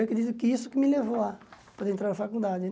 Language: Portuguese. Eu acredito que isso que me levou a poder entrar na faculdade né.